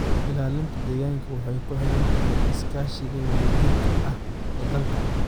Ilaalinta deegaanka waxay ku xiran tahay iskaashiga wadajirka ah ee dalalka.